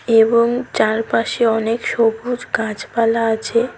এবং চারপাশে অনেক সবুজ গাছপালা আছে।